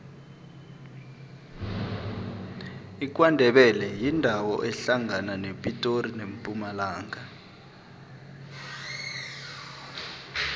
ikwandebele yindawo ehlangana nepitori nempumalanga